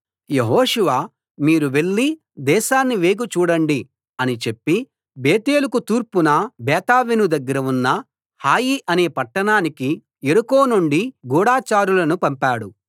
యెహోషువ మీరు వెళ్లి దేశాన్ని వేగు చూడండి అని చెప్పి బేతేలుకు తూర్పున బేతావెను దగ్గర ఉన్న హాయి అనే పట్టణానికి యెరికో నుండి గూఢచారులను పంపాడు